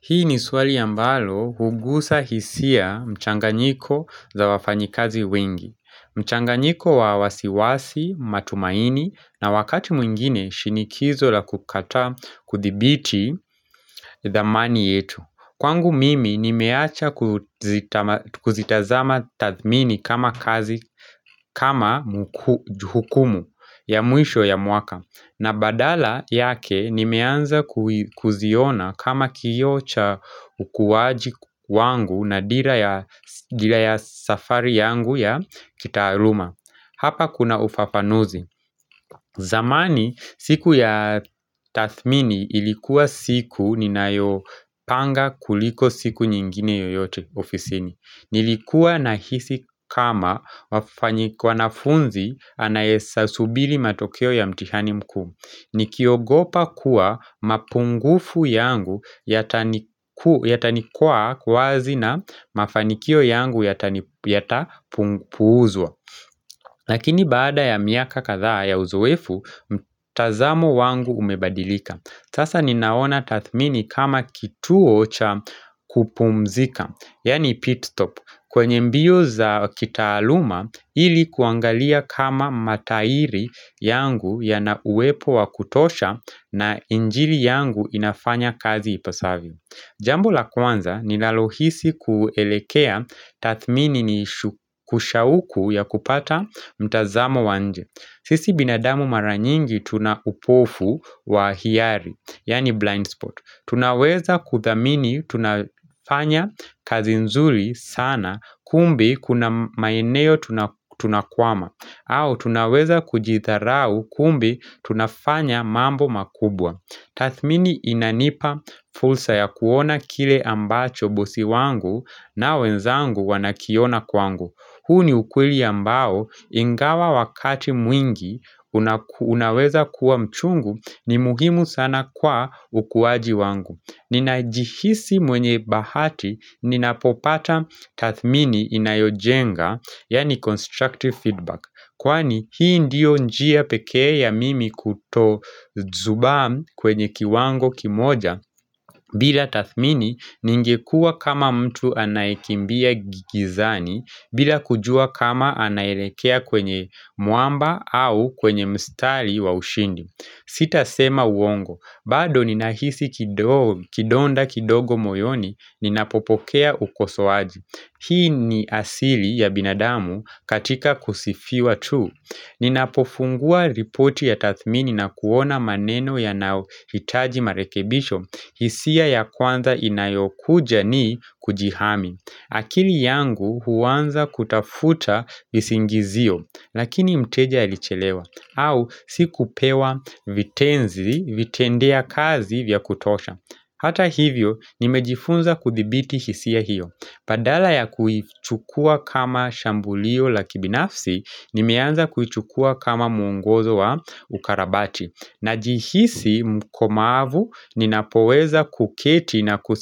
Hii ni swali a mbalo hugusa hisia mchanganyiko za wafanyikazi wengi mchanganyiko wa wasiwasi matumaini na wakati mwingine shinikizo la kukataa kuthibiti thamani yetu Kwangu mimi nimeacha kuzitazama tathmini kama kazi kama juhukumu ya mwisho ya mwaka na badala yake nimeanza kuziona kama kioocha ukuwaji wangu na dira ya ya safari yangu ya kitaaluma Hapa kuna ufafanuzi zamani siku ya tathmini ilikuwa siku ninayo panga kuliko siku nyingine yoyote ofisini Nilikuwa nahisi kama wanafunzi anayesa subili matokeo ya mtihani mkuu ni kiogopa kuwa mapungufu yangu yataniku yata nikwaa kuwazi na mafanikio yangu yata puuzwa Lakini baada ya miaka kathaa ya uzoefu, mtazamo wangu umebadilika Sasa ninaona tathmini kama kituo cha kupumzika, yaani pitstop kwenye mbio za kitaaluma ili kuangalia kama matairi yangu ya na uwepo wa kutosha na injili yangu inafanya kazi ipasavyo Jambu la kwanza ni nalohisi kuelekea tathmini ni kusha uku ya kupata mtazamo wanje sisi binadamu maranyingi tuna upofu wa hiari, yaani blind spot Tunaweza kuthamini tunafanya kazi nzuri sana kumbe kuna maeneo tunakwama au tunaweza kujitharau kumbe tunafanya mambo makubwa Tathmini inanipa fulsa ya kuona kile ambacho bosi wangu na wenzangu wanakiona kwangu huu ni ukweli ambao ingawa wakati mwingi unaku unaweza kuwa mchungu ni mugimu sana kwa ukuwaji wangu Ninajihisi mwenye bahati ninapopata tathmini inayojenga yaani constructive feedback Kwani hii ndio njia pekee ya mimi kuto zubam kwenye kiwango kimoja bila Tathmini ningekuwa kama mtu anayekimbia gigizani bila kujua kama anaelekea kwenye mwamba au kwenye mstari wa ushindi. Sita sema uongo, bado ninahisi kidonda kidogo moyoni ninapopokea ukosoaji. Hii ni asili ya binadamu katika kusifiwa tu. Ni napofungua ripoti ya tathmini na kuona maneno ya nayohitaji marekebisho hisia ya kwanza inayokuja ni kujihami akili yangu huanza kutafuta visingizio Lakini mteja ilichelewa au sikupewa vitenzi vitendea kazi vya kutosha Hata hivyo nimejifunza kuthibiti hisia hiyo Padala ya kuchukua kama shambulio la kibinafsi Nimeanza kuchukua kama muongozo wa ukarabati Najihisi mkomavu ninapoweza kuketi na ku